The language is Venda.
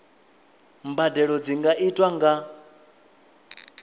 mbadelo dzi nga itwa nga